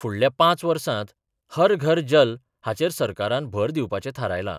फुडल्या पांच वर्सांत 'हर घर जल 'हाचेर सरकारान भर दिवपाचे थारायला.